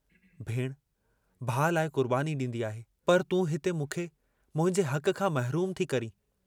भेणु, भाउ लाइ कुर्बानी डींदी आहे, पर तूं हिंते मूंखे मुंहिंजे हक खां महरूम थी करीं।